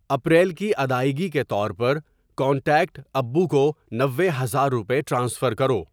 April کی ادائیگی کے طور پر کانٹیکٹ ابو کو نوے ہزار روپے ٹرانسفر کرو۔